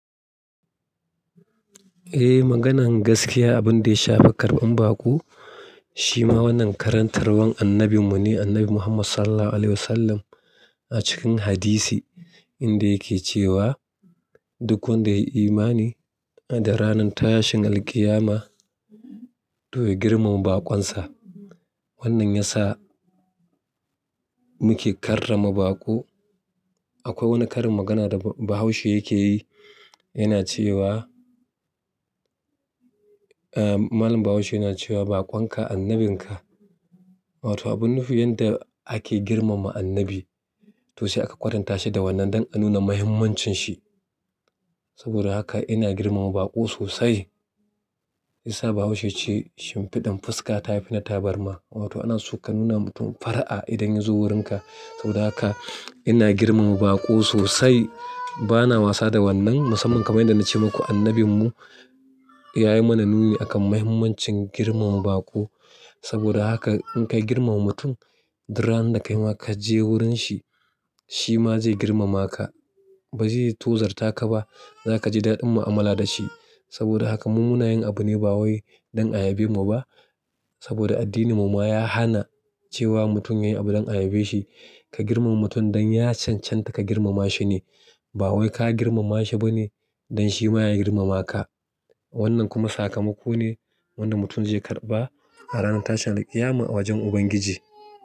Eh, maganan gaskiya abin da ya shafa karɓan baƙo shi ma wannan karantarwan annabi mu ne, annabi Muhammad SAW a cikin hadisi inda yake cewa: "Duk wanda ya yi imani ada ranan tashin alqiyama to ya girmama baƙon sa." Wannan ya sa muke karrama baƙo. Akwai wani karin magana da Bahaushe yake yi, yana cewa, eh, Malam Bahaushe yana cewa: "Baƙon ka annabin ka." wato abun nufi yanda ake girmama annabi to sai aka kwatanta shi da wannan dan a nuna muhimmancin shi. Saboda haka ina girmama baƙo sosai. Shiyasa bahaushe ya ce shimfida fuska ta fi na taburma. Wato ana so ka nuna mutum far'a idan ya zo wurin ka. Saboda haka ina girmama baƙo sosai. Bana wasa da wannan. Musamman kamar yadda na ce maku annabin mu ya yi mana nuni akan muhimmancin girmama baƙo. Saboda haka in ka girmama mutum, duk ranan da kai ma ka je wurin shi, shi ma zai girmama ka. Ba zai tozarta ka ba. Za ka ji daɗin mu'amala da shi. Saboda haka mu munayin abu ne ba wai don a yabe mu ba. Saboda addinin mu ma ya hana cewa mutum ya yi abu don a yabe shi. Ka girmama mutum don ya chanchanta ka girmama shi ne. Ba wai ka girmama shi ba ne don shi ma ya girmama ka. Wannan kuma sakamako ne wanda mutum zai karɓa a ranar tashin alqiyama a wajen Ubangiji.